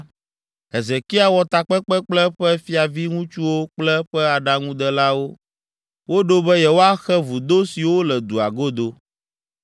Hezekia wɔ takpekpe kple eƒe fiaviŋutsuwo kple eƒe aɖaŋudelawo. Woɖo be yewoaxe vudo siwo le dua godo.